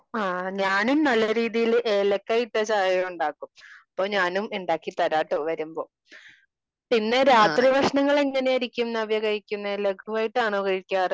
ആ ഞാനും നല്ല രീതിയില് ഏലക്കായ ഇട്ട ചായ ഉണ്ടാക്കും. അപ്പോ ഞാനും ഉണ്ടാക്കി തരാട്ടോ വരുമ്പോ. പിന്നെ രാത്രി ഭക്ഷണം എങ്ങനെയായിരിക്കും നവ്യ കഴിക്കാറ് ലഘുവായിട്ടാണോ നവ്യ കഴിക്കാറ്?